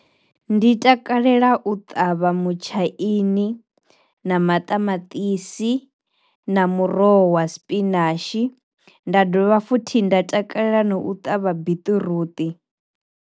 Ndi takalela u ṱavha mutshaini, na maṱamatisi, na muroho wa sipinashi, nda dovha futhi nda takalela na u ṱavha biṱiruṱi.